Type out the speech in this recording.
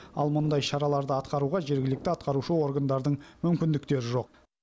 ал мұндай шараларды атқаруға жергілікті атқарушы органдардың мүмкіндіктері жоқ